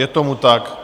Je tomu tak.